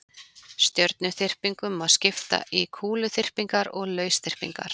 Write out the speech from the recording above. stjörnuþyrpingum má skipta í kúluþyrpingar og lausþyrpingar